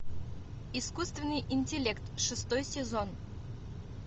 искусственный интеллект шестой сезон